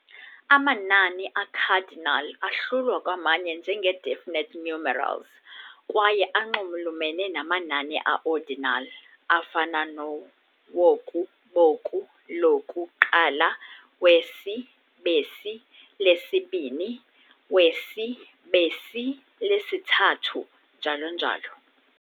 "Amanani" "a-cardinal ahlulwa kwamanye njengee-definite numerals kwaye anxulumene namanani a-ordinal, afana noo-woku, boku, loku, - qala, wesi, besi, lesi-bini, wesi, besi, lesi- thathu"', njalo njalo.